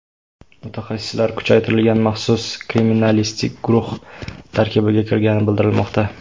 Mutaxassislar kuchaytirilgan maxsus kriminalistik guruh tarkibiga kirgani bildirilmoqda.